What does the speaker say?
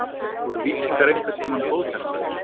Voru víkingar einhvern tímann góðhjartaðir?